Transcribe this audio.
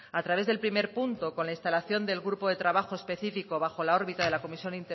a través del primer punto con la instalación del grupo de trabajo específico bajo la órbita de la comisión